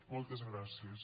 moltes gràcies